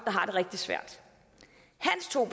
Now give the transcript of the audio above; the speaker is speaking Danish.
har det rigtig svært hans to